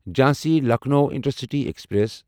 Jhansi Lucknow Intercity express